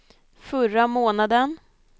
förra månaden